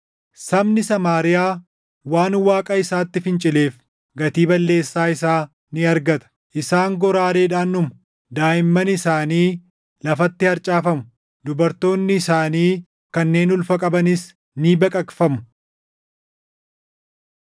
Sabni Samaariyaa waan Waaqa isaatti fincileef gatii balleessaa isaa ni argata. Isaan goraadeedhaan dhumu; daaʼimman isaanii lafatti harcaafamu; dubartoonni isaanii kanneen // ulfa qabanis ni baqaqfamu.”